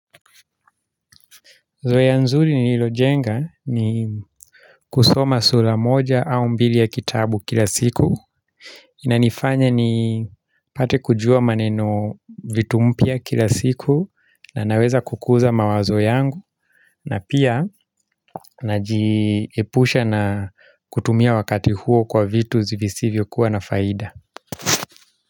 Zoya nzuri nililojenga ni kusoma sura moja au mbili ya kitabu kila siku. Inanifanya nipate kujua maneno vitu mpya kila siku na naweza kukuza mawazo yangu na pia najiepusha na kutumia wakati huo kwa vitu zivisivyo kuwa na faida.